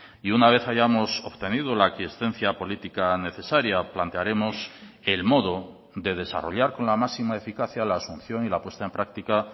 y una vez hayamos obtenido la aquiescencia política necesaria plantearemos el modo de desarrollar con la máxima eficacia la asunción y la puesta en práctica